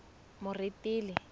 moretele